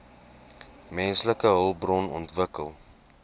menslike hulpbron ontwikkeling